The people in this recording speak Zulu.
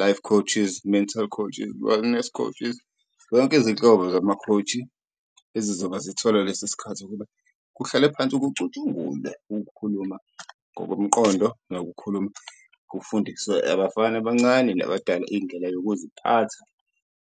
life coaches, mental coaches, wellness coaches, yonke izinhlobo zama-coach ezizobe zithola lesi sikhathi ukuba kuhlalwe phansi kucutshungule ukukhuluma ngokomqondo, nokukhuluma kufundiswe abafana abancane nabadala indlela yokuziphatha.